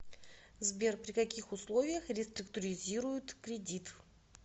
сбер при каких условиях реструктуризируют кредит